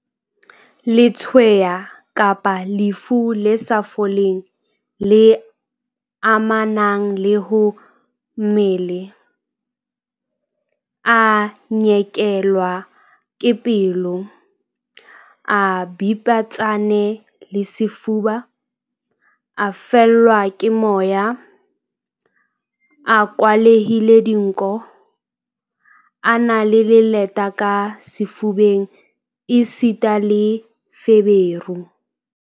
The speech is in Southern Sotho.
Letshweya kapa lefu le sa foleng le amanang le ho mmele, a nyekelwa ke pelo, a bipetsane sefuba, a fellwa ke moya, a kwalehile dinko, a na le leleta ka sefubeng esita le feberu.